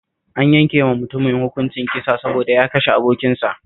An yanke wa mutumin hukuncin kisa saboda ya kashe abokinsa